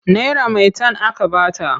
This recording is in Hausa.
Naira maitan aka ba ta.